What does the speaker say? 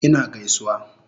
Ina gaisuwa